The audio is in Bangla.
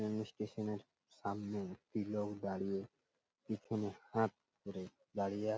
এমনি স্টেশন -এর সামনে একটি লোক দাঁড়িয়ে পিছনে হাত ধরে দাঁড়িয়ে আছে ।